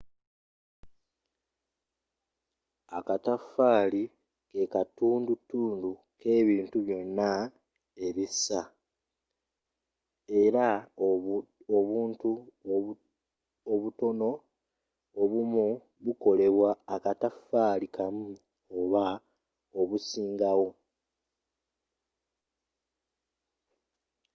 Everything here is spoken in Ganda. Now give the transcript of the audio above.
akataffaali kekatundutundu k’ebintu byonna ebissa, era obuntu obutono obumu bukolebwa akataffali kamu oba obusingawo